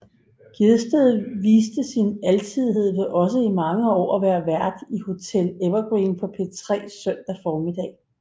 Gjedsted viste sin alsidighed ved også i mange år at være vært i Hotel Evergreen på P3 søndag formiddag